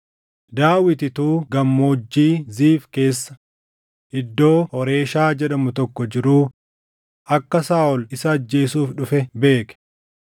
Daawit utuu Gammoojjii Ziif keessa iddoo Hooreshaa jedhamu tokko jiruu akka Saaʼol isa ajjeesuuf dhufe beeke.